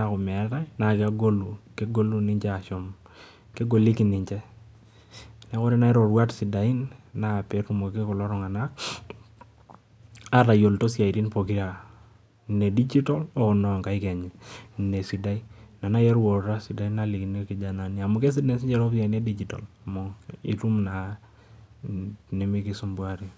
oo nkaik neekuu kegoliki ninje neeku kisidai teneyiluo isiatin uluat poker ware